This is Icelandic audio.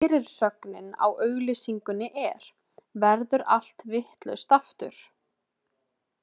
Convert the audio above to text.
Fyrirsögnin á auglýsingunni er: Verður allt vitlaust, aftur?